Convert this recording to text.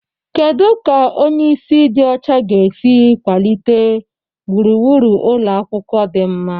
Kedu ka onye isi ịdị ọcha ga-esi kwalite gburugburu ụlọ akwụkwọ dị mma?